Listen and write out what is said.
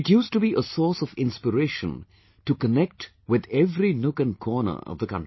It used to be a source of inspiration to connect with every nook and corner of the country